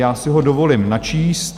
Já si ho dovolím načíst.